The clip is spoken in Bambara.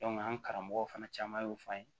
an karamɔgɔ fana caman y'o fɔ an ye